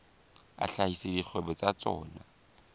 a hlahisa dikgwebo tsa tsona